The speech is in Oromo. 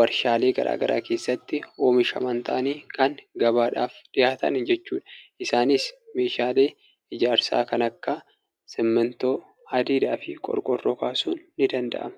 warshaalee garaagaraa keessattin oomishaman ta'anii kan gabaaf dhiyaatan jechuudha. Isaanis meeshaalee ijaarsaa kan akka simmintoo, hadiidaa fi qorqoorroo kaasuun ni danda'ama.